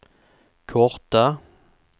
korta